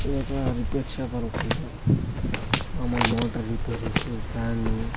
ఇదొక repair shop అనుకుంటా మాములు మోటర్ రిపేరీసు ఫ్యాను --